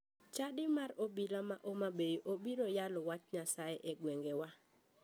Chadi mar obila ma homabay obiro yalo wach nyasaye e gweng'wa.